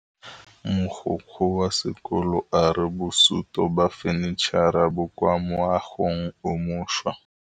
Mogokgo wa sekolo a re bosutô ba fanitšhara bo kwa moagong o mošwa.